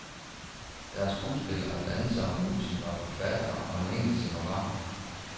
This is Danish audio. Der er skuespillere og dansere, musikere og forfattere og en enkelt scenograf.